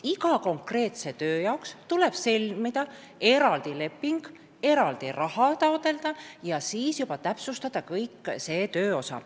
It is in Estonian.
Iga konkreetse töö jaoks tuleb sõlmida eraldi leping, eraldi raha taotleda ja siis juba täpsustatakse kogu see tööosa.